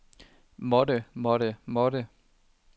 måtte måtte måtte